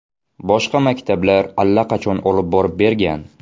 Boshqa maktablar allaqachon olib borib bergan.